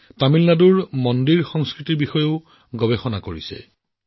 তেওঁ তামিলনাডুৰ মন্দিৰ সংস্কৃতিৰ বিষয়ে গৱেষণা কৰি ভাল পায়